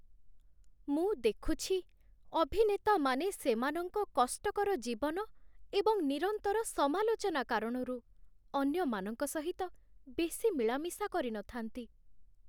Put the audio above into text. ମୁଁ ଦେଖୁଛି ଅଭିନେତାମାନେ ସେମାନଙ୍କ କଷ୍ଟକର ଜୀବନ ଏବଂ ନିରନ୍ତର ସମାଲୋଚନା କାରଣରୁ ଅନ୍ୟମାନଙ୍କ ସହିତ ବେଶୀ ମିଳାମିଶା କରିନଥାନ୍ତି।